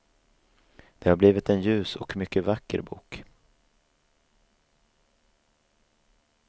Det har blivit en ljus och mycket vacker bok.